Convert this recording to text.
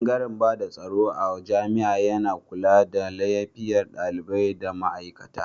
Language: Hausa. Bangare bada tsaro a jami'a yana kula da lafiyar dalibai da ma aikata.